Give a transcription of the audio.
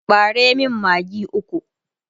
ɓare min maggi ukwu!